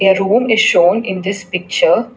A room is shown in this picture.